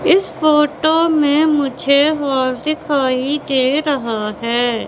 इस फोटो में मुझे हॉल दिखाई दे रहा है।